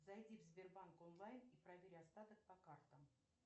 зайди в сбербанк онлайн и проверь остаток по картам